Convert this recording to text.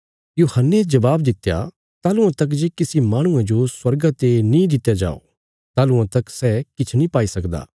यूहन्ने जबाब दित्या ताहलुआं तक जे किसी माहणुये जो स्वर्गा ते नीं दित्या जाओ ताहलुआं तक सै किछ नीं पाई सकदा